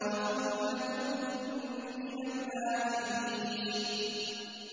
وَثُلَّةٌ مِّنَ الْآخِرِينَ